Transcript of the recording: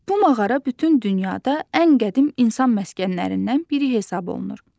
Bu mağara bütün dünyada ən qədim insan məskənlərindən biri hesab olunur.